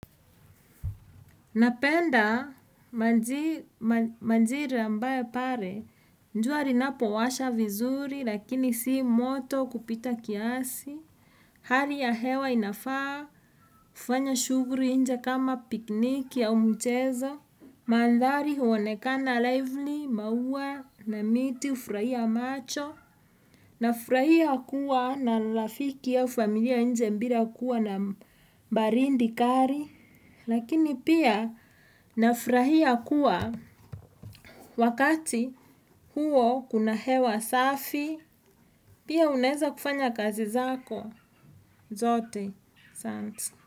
Napenda majira ambaye pale, jua linapowasha vizuri lakini si moto kupita kiasi. Hali ya hewa inafaa, hufanya shughuli nje kama pikniki au mchezo. Mandhari huonekana lively, mauwa na miti hufurahia macho. Nafurahia kuwa na rafiki au familia nje bila kuwa na baridi kali. Lakini pia nafurahia kuwa wakati huo kuna hewa safi Pia unaeza kufanya kazi zako zote.